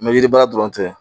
yiri baara dɔrɔn tɛ